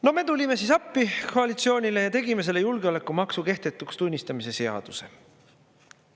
No me tulime siis appi koalitsioonile ja tegime selle julgeolekumaksu kehtetuks tunnistamise seaduse.